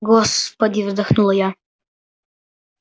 господи вздохнула я